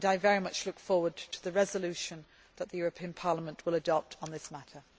I very much look forward to the resolution that the European Parliament will adopt on this matter.